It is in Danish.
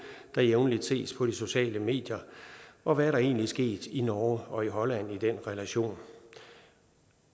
der jævnligt ses på de sociale medier og hvad er der egentlig sket i norge og i holland i den relation